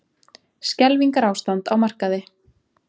Skelfingarástand á markaði